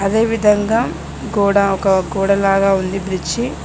అదే విధంగా గోడ ఒక గోడలాగా ఉంది బ్రిడ్జి .